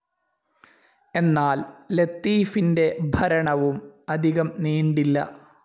എന്നാൽ ലത്തീഫിൻ്റെ ഭരണവും അധികം നീണ്ടില്ല.